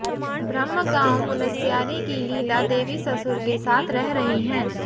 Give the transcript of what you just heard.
ब्रहम गांव मुनस्यारी की लीला देवी ससुर के साथ रह रही हैं